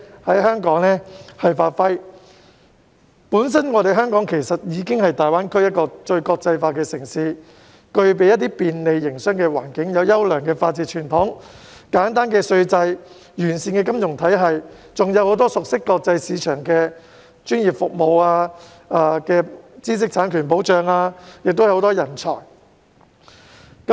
香港本身已是大灣區內最國際化的城市，不但具備便利的營商環境、優良的法治傳統、簡單稅制和完善的金融體系，而且有很多熟悉國際市場的專業服務、知識產權保障及人才等。